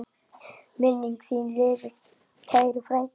Minning þín lifir, kæri frændi.